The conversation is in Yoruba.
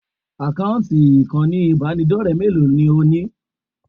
Àkáǹtì ìkànnì ìbánidọ́rẹ̀ẹ́ mélòó ni ò ní?